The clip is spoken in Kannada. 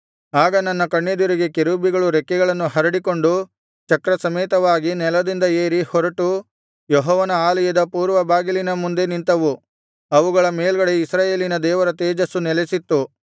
ಆಗ ನನ್ನ ಕಣ್ಣೆದುರಿಗೆ ಕೆರೂಬಿಗಳು ರೆಕ್ಕೆಗಳನ್ನು ಹರಡಿಕೊಂಡು ಚಕ್ರಸಮೇತವಾಗಿ ನೆಲದಿಂದ ಏರಿ ಹೊರಟು ಯೆಹೋವನ ಆಲಯದ ಪೂರ್ವ ಬಾಗಿಲಿನ ಮುಂದೆ ನಿಂತವು ಅವುಗಳ ಮೇಲ್ಗಡೆ ಇಸ್ರಾಯೇಲಿನ ದೇವರ ತೇಜಸ್ಸು ನೆಲಸಿತ್ತು